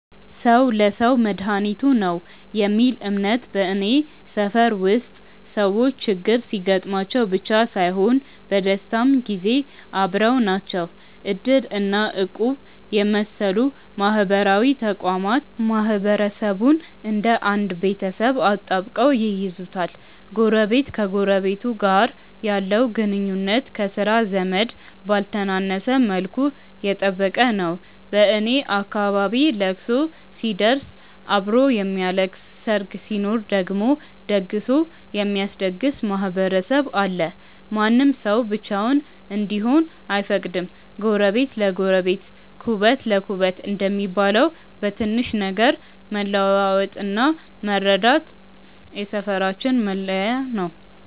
"ሰው ለሰው መድኃኒቱ ነው" የሚል እምነት በኔ ሰፈር ውስጥ ሰዎች ችግር ሲገጥማቸው ብቻ ሳይሆን በደስታም ጊዜ አብረው ናቸው። እድር እና እቁብ የመሰሉ ማህበራዊ ተቋማት ማህበረሰቡን እንደ አንድ ቤተሰብ አጣብቀው ይይዙታል። ጎረቤት ከጎረቤቱ ጋር ያለው ግንኙነት ከሥጋ ዘመድ ባልተነሰ መልኩ የጠበቀ ነው። በኔ አካባቢ ለቅሶ ሲደርስ አብሮ የሚያለቅስ፣ ሰርግ ሲኖር ደግሞ ደግሶ የሚያስደግስ ማህበረሰብ አለ። ማንም ሰው ብቻውን እንዲሆን አይፈቀድም። "ጎረቤት ለጎረቤት ኩበት ለኩበት" እንደሚባለው፣ በትንሽ ነገር መለዋወጥና መረዳዳት የሰፈራችን መለያ ነው።